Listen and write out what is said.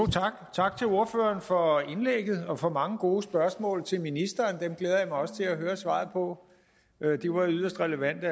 tak til ordføreren for indlægget og for mange gode spørgsmål til ministeren dem glæder jeg mig også til at høre svaret på de var jo yderst relevante